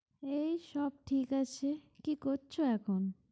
এই সব ঠিক আছে। কি করছো এখন?